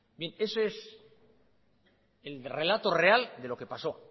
bien eso es el relato real de lo que pasó